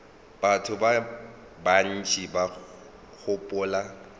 batho ba bantši ba gopola